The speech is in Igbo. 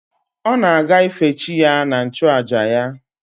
Ọ na-aga ife chi ya na nchụàjà ya